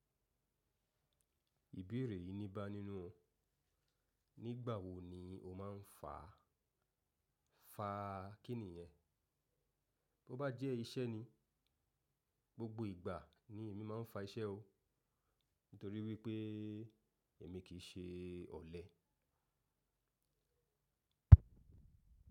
Ìbéèrè yìí ní bá nínú ọ, nígbà wo ni o máa ń fa, fa kí nìyẹn? Bo bá jẹ́ iṣẹ́ ni, gbogbo ìgbà ni èmi máa ń fa iṣẹ́ o, nítorí wípé èmi kì í ṣe ọ̀lẹ.